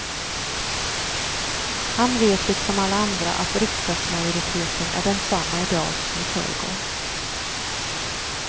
Han vet liksom alla andra att riksdagsmajoriteten är densamma i dag som i förrgår.